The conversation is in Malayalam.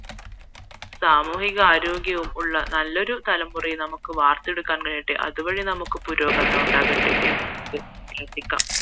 സമൂഹികാരോഗ്യമുള്ള നല്ലൊരു തലമുറയെ നമുക്ക് വാർത്തെടുക്കാൻ കഴിയട്ടെ അതു വഴി നമുക്ക് പുരോഗമനം ഉണ്ടാകട്ടെ